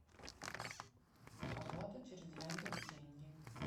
оплата через яндекс деньги